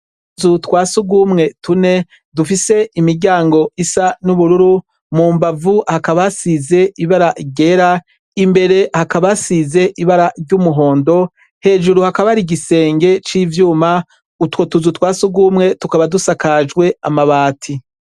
Utuzu twasurwumwe tune, dufise imiryango isa n'ubururu, mu mbavu hakaba hasize ibara ryera, imbere hakaba hasize ibara ry'umuhondo, hejuru hakaba ari igisenge c'ivyuma. Utwo tuzu twasugumwe tukaba dusakajwe amabati.